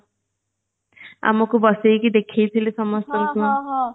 ଆମକୁ ବସେଇକି ଦେଖେଇ ଥିଲେ ସମସ୍ତେ